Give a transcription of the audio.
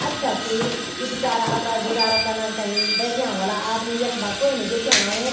अच्छा सी ये बिचारा अपना गुजरा कना थे बैंठ्याँ हुला आदमी यख्मा कोई नी दिख्याणु।